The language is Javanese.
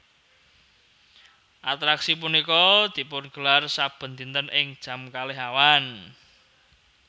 Atraksi punika dipungelar saben dinten ing jam kalih awan